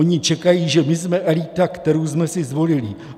Oni čekají, že my jsme elita, kterou jsme si zvolili.